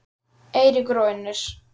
Eiríkur og Unnur.